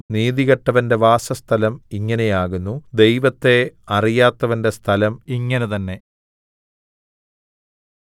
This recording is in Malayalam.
നീതികെട്ടവന്റെ വാസസ്ഥലം ഇങ്ങനെയാകുന്നു ദൈവത്തെ അറിയാത്തവന്റെ സ്ഥലം ഇങ്ങനെതന്നെ